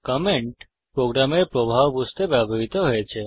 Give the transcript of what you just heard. comment প্রোগ্রামের প্রবাহ বুঝতে ব্যবহৃত হয়েছে